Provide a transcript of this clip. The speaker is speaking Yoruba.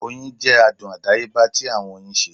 Oyin jẹ adun adayeba ti awọn oyin ṣe